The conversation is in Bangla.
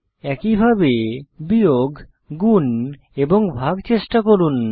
একইভাবে বিয়োগ গুন এবং ভাগ চেষ্টা করুন